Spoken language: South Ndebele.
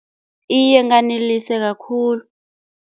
Iye nganeliseka khulu.